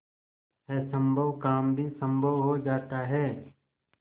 असम्भव काम भी संभव हो जाता है